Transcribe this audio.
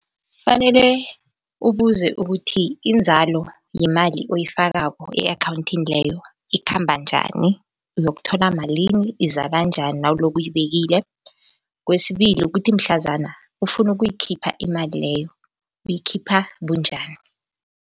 Kufanele ubuze ukuthi inzalo yemali oyifakako e-akhawunthini leyo ikhamba njani, uyokuthola malini, izala njani nawuloko uyibekile. Kwesibili, kukuthi mhlazana ufuna ukuyikhipha imali leyo uyikhipha bunjani.